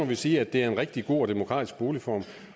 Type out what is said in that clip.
vil sige at det er en rigtig god og demokratisk boligform